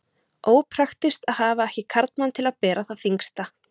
Ópraktískt að hafa ekki karlmann til að bera það þyngsta.